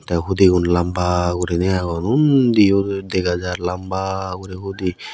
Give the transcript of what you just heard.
tey hudigun lamba guriney agon undiyo dega jar lamba guri hudi.